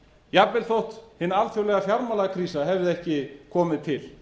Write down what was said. jafnvel þó að hin alþjóðlega fjármálakrísa hefði ekki komið til